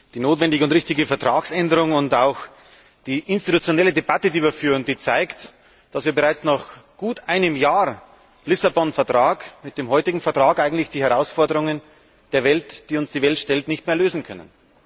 Die notwendige und richtige Vertragsänderung und auch die institutionelle Debatte, die wir führen, zeigt, dass wir bereits nach gut einem Jahr Lissabon Vertrag mit dem heutigen Vertrag eigentlich die Herausforderungen, die uns die Welt stellt, nicht mehr lösen können.